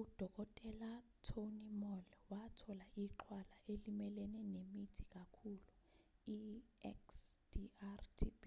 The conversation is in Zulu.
udkt. tony moll wathola ixhwala elimelene nemithi kakhulu ixdr-tb